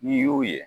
N'i y'o ye